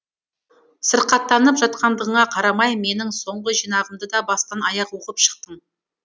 сырқаттанып жатқандығыңа қарамай менің соңғы жинағымды да бастан аяқ оқып шықтың